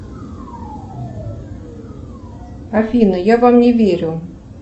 афина я вам не верю